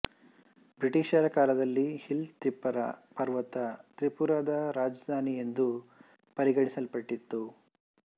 ಬ್ರಿಟಿಷರ ಕಾಲದಲ್ಲಿ ಹಿಲ್ ತಿಪ್ಪರ ಪರ್ವತ ತ್ರಿಪುರ ದ ರಾಜಧಾನಿ ಎಂದು ಪರಿಗಣಿಸಲ್ಪಟ್ಟಿತ್ತು